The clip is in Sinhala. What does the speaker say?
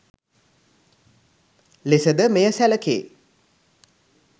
ලෙස ද මෙය සැලකේ